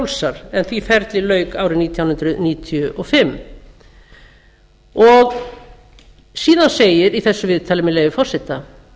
fjrálsar en því ferli lauk árið nítján hundruð níutíu og fimm síðan segir í þessu viðtali með leyfi forseta